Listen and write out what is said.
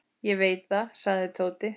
Ég veit það, sagði Tóti.